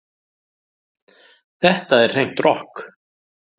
Þetta er hreint rokk